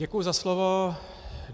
Děkuju za slovo.